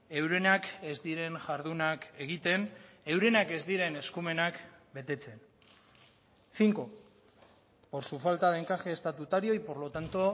eurenak ez diren jardunak egiten eurenak ez diren eskumenak betetzen cinco por su falta de encaje estatutario y por lo tanto